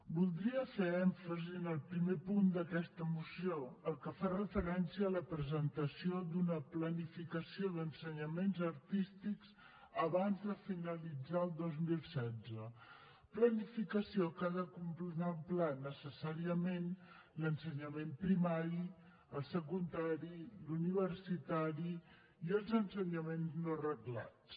voldria fer èmfasi en el primer punt d’aquesta moció el que fa referència a la presentació d’una planificació d’ensenyaments artístics abans de finalitzar el dos mil setze planificació que ha de contemplar necessàriament l’ensenyament primari el secundari l’universitari i els ensenyaments no reglats